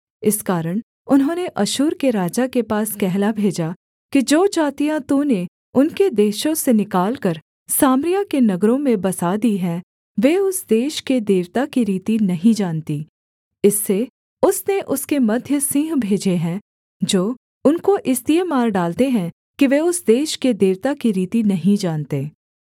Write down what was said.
इस कारण उन्होंने अश्शूर के राजा के पास कहला भेजा कि जो जातियाँ तूने उनके देशों से निकालकर सामरिया के नगरों में बसा दी हैं वे उस देश के देवता की रीति नहीं जानतीं इससे उसने उसके मध्य सिंह भेजे हैं जो उनको इसलिए मार डालते हैं कि वे उस देश के देवता की रीति नहीं जानते